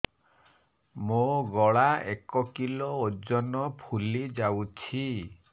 ମୋ ଗଳା ଏକ କିଲୋ ଓଜନ ଫୁଲି ଯାଉଛି